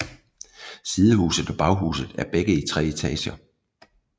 Sidehuset og baghuset er begge i tre etager